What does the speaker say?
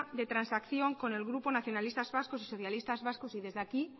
de transacción con el grupo nacionalistas vascos y socialistas vascos y desde aquí